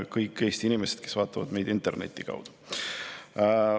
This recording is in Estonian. Ja kõik Eesti inimesed, kes vaatavad meid interneti kaudu!